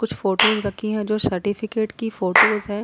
कुछ फोटोस रखी हैं जो सर्टिफिकेट की फोटोस है।